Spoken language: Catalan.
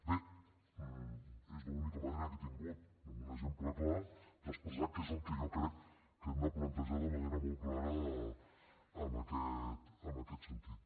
bé és l’única manera que he tingut amb un exemple clar d’expressar què és el que jo crec que hem de plantejar de manera molt clara en aquest sentit